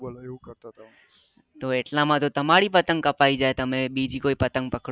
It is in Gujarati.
તો એટલા માટે તમારી પતંગ કપાઈ જાય તમે બીજી કોઈ પતંગ પકડો તો